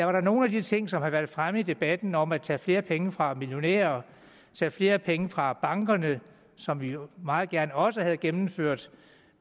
var nogle af de ting som har været fremme i debatten om at tage flere penge fra millionærerne tage flere penge fra bankerne som vi jo meget gerne også ville have gennemført